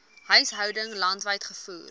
huishoudings landwyd gevoer